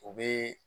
O bɛ